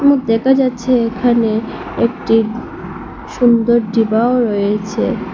এবং দেখা যাচ্ছে এখানে একটি সুন্দর ডিবাও রয়েছে।